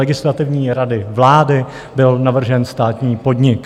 Legislativní rady vlády byl navržen státní podnik.